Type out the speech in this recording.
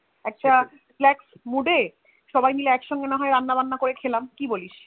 একটা flex Mood এ সবাই মিলে নয় একসঙ্গে রান্না বান্না করে খেলাম কি বলিস